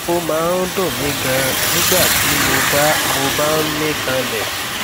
ó máa ń dùn mí ganan nígbà tí mo bá mo bá ń mí kanlẹ